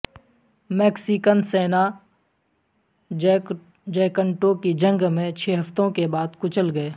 Mexican San Jacinto کی جنگ میں چھ ہفتوں کے بعد کچل گئے